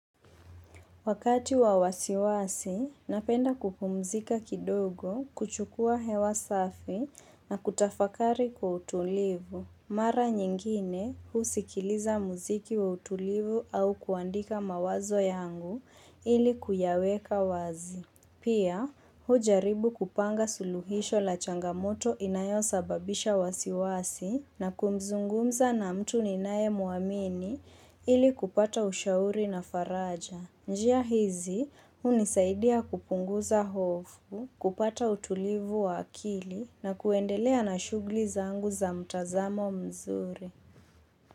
Wakati wa wasiwasi, napenda kupumzika kidogo kuchukua hewa safi na kutafakari kwa utulivu. Mara nyingine, husikiliza muziki wa utulivu au kuandika mawazo yangu ili kuyaweka wazi. Pia, hujaribu kupanga suluhisho la changamoto inayosababisha wasiwasi na kumzungumza na mtu ninayemuamini ili kupata ushauri na faraja. Njia hizi, hunisaidia kupunguza hofu, kupata utulivu wa akili na kuendelea na shughuli zangu za mtazamo mzuri.